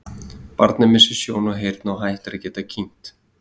barnið missir sjón og heyrn og hættir að geta kyngt